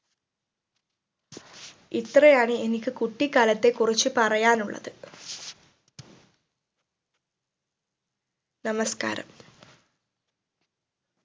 ഇത്രയാണ് എനിക്ക് കുട്ടിക്കാലത്തെ കുറിച്ച് പറയാനുള്ളത് നമസ്ക്കാരം